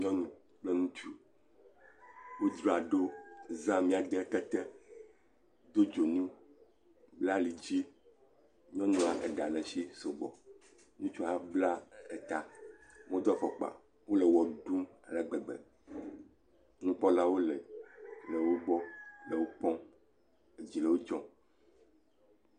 Nyɔnu kple ŋutsu, ŋutsu aɖewo za mía de kete, do dzonu, bla alidzi, nyɔnua eɖa le esi sɔgbɔ, , ŋutsua hã bla eta, womedo afɔkpa o, wole wɔ ɖum ale gbegbe, nukpɔlawo le wo gbɔ le wo kpɔm, edzi le wo dzɔm.